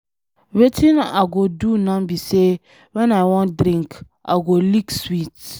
Wetin I go do now be say when I wan drink, I go lick sweet.